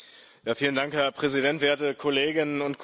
Herr Präsident, werte Kolleginnen und Kollegen!